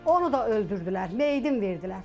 Onu da öldürdülər, meyidin verdilər.